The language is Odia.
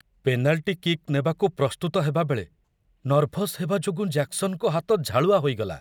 ପେନାଲ୍ଟି କିକ୍ ନେବାକୁ ପ୍ରସ୍ତୁତ ହେବାବେଳେ ନର୍ଭସ୍ ହେବା ଯୋଗୁଁ ଜ୍ୟାକସନ୍‌ଙ୍କ ହାତ ଝାଳୁଆ ହୋଇଗଲା।